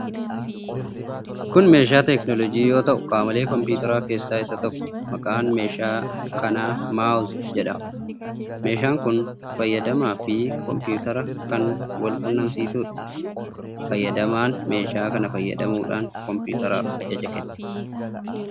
Kun meeshaa teekinooloojii yoo ta'u, qaamolee kompiwuuteraa keessaa isa tokkodha. Maqaan meeshaa kanaa 'mouse' jedhama. Meeshaan kun fayyadamaa fi kompiwuutera kan wal quunnamsiisuudha. Fayyadamaan meeshaa kana fayyadamuudhaan kompiwuuteraaf ajaja kenna.